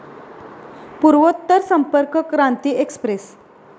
पूर्वोत्तर संपर्क क्रांती एक्सप्रेस